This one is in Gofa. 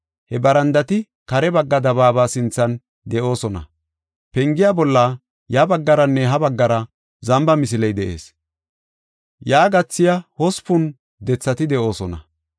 He barandati kare bagga dabaaba sinthan de7oosona. Pengiya bolla ya baggaranne ha baggara zamba misiley de7ees. Yaa gathiya hospun dethati de7oosona.